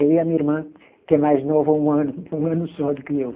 Eu e a minha irmã, que é mais nova um ano, um ano só do que eu.